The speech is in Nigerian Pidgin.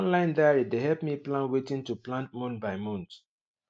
online diary dey help me plan wetin to plant month by month